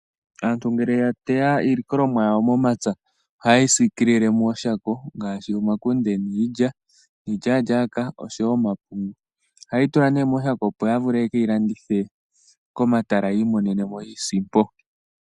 Aantu ngele ya teya iilikolomwa yawo momapya oha yeyi sikilile mooshako. Ngaashi omakunde niilya, iilyalyaka noshowo omapungu. Ohaye yi tula mooshako opo ya vule ye keyi landithe komatala yi imonene mo iisimpo.